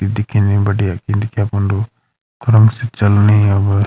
दिखेणी बढ़िया इनके फुंडू क्रम सी चलणी अब।